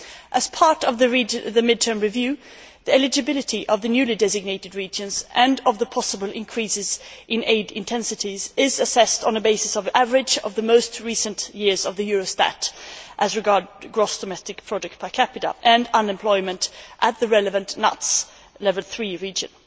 As part of the mid term review, the eligibility of the newly designated regions, and of the possible increases in aid intensities, is assessed on the basis of the average of the most recent years of the Eurostat data as regards gross domestic product per capita and unemployment at the relevant NUTS level 3 region.